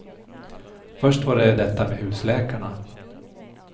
Först var det detta med husläkarna.